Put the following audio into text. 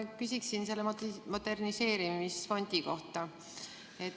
Ma küsin moderniseerimisfondi kohta.